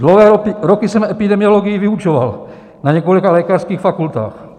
Dlouhé roky jsem epidemiologii vyučoval na několika lékařských fakultách.